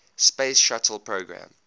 space shuttle program